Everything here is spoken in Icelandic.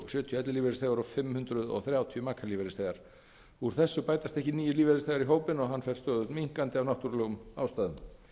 sjötíu ellilífeyrisþegar og fimm hundruð þrjátíu makalífeyrisþegar úr þessu bætast ekki nýir lífeyrisþegar í hópinn og hann fer stöðugt minnkandi af náttúrulegum ástæðum